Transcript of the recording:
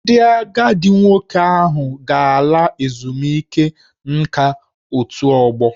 Ndị agadi nwoke ahụ ga-ala ezumike nka n'otù ọgbọ